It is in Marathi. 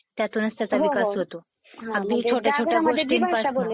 त्यातूनच त्याचा विकास होतो. अगदी छोट्या छोट्या गोष्टींपासून...